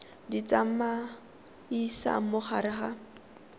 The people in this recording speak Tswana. di tsamaisa mo gare ga